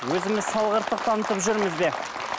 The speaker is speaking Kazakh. өзіміз салғырттық танытып жүрміз бе